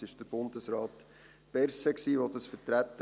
Es war Bundesrat Berset, der das vertrat.